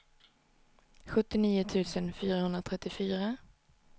sjuttionio tusen fyrahundratrettiofyra